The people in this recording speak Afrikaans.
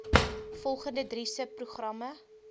volgende drie subprogramme